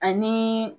Ani